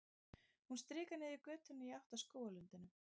Hún stikar niður götuna í átt að skógarlundinum.